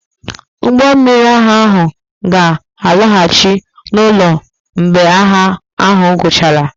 Ụgbọ mmiri agha ahụ ga-alọghachi n'ụlọ mgbe agha ahụ guchara.